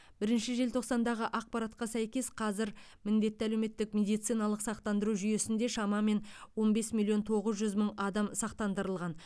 бірінші желтоқсандағы ақпаратқа сәйкес қазір міндетті әлеуметтік медициналық сақтандыру жүйесінде шамамен он бес миллион тоғыз жүз мың адам сақтандырылған